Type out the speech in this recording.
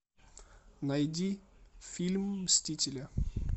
найди фильм мстители